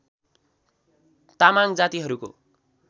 तामाङ जातिहरूको